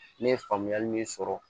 Ne ye faamuyali min sɔrɔ